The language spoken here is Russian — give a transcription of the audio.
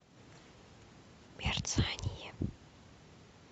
мерцание